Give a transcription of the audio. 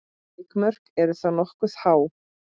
Vikmörk eru þá nokkuð há.